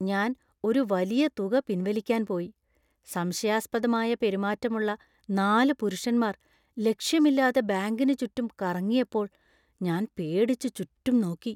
ഞാൻ ഒരു വലിയ തുക പിൻവലിക്കാൻ പോയി, സംശയാസ്പദമായ പെരുമാറ്റമുള്ള നാല് പുരുഷന്മാർ ലക്ഷ്യമില്ലാതെ ബാങ്കിന് ചുറ്റും കറങ്ങിയപ്പോൾ ഞാൻ പേടിച്ച് ചുറ്റും നോക്കി.